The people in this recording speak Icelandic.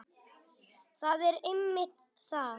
Það er einmitt það.